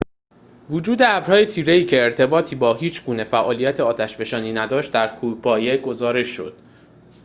وجود ابرهای تیره‌ای که ارتباطی با هیچ‌گونه فعالیت آتش‌فشانی نداشت در کوهپایه گزارش شد